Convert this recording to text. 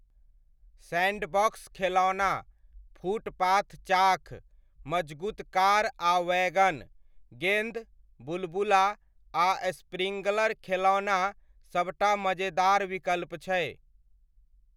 Sandbox खेलौना, footpath chalk, मजगूत car आ वैगन, गेन्द, बुलबुला, आ स्प्रिङ्कलर खेलौना सब टा मजेदार विकल्प छै।